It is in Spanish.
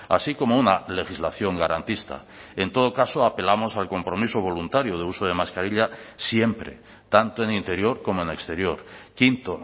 así como una legislación garantista en todo caso apelamos al compromiso voluntario de uso de mascarilla siempre tanto en interior como en exterior quinto